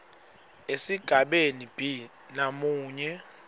esigabeni b namunye